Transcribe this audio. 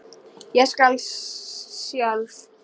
Ég skal sjálf.